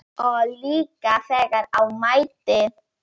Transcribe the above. Og líka þegar á mæddi.